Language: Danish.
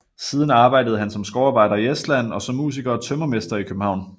Siden arbejdede han som skovarbejder i Estland og som musiker og tømrermester i København